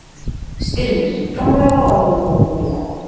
Styrmir, hvað er á áætluninni minni í dag?